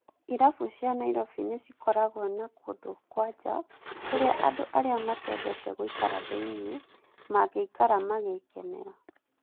Irabu cia Nyairobi nĩ cikoragwo na kũndũ kwa njaa, kũrĩa andũ arĩa matendete gũikara thĩiniē mangĩikara mangĩkenera.